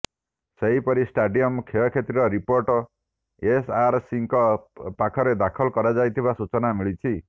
ସେହିପରି ଷ୍ଟାଡିୟମ୍ର କ୍ଷୟକ୍ଷତିର ରିପୋର୍ଟ ଏସ୍ଆରସିଙ୍କ ପାଖରେ ଦାଖଲ କରାଯାଇଥିବା ସୂଚନା ମିଳିଛି